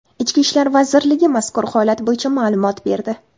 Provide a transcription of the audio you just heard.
Ichki ishlar vazirligi mazkur holat bo‘yicha ma’lumot berdi .